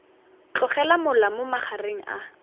tlogela mola mo magareng a